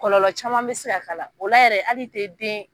Kɔlɔlɔ caman be se ka k'a la. O la yɛrɛ hali te den